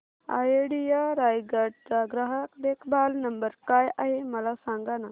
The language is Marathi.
आयडिया रायगड चा ग्राहक देखभाल नंबर काय आहे मला सांगाना